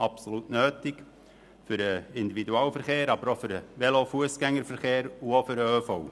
Die Sanierung ist absolut nötig für den Individualverkehr, aber auch für den Velo- und Fussgängerverkehr und den ÖV.